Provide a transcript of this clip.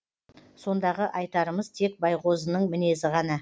сондағы айтарымыз тек байғозының мінезі ғана